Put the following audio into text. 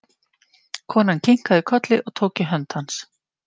Konan kinkaði kolli og tók í hönd hans.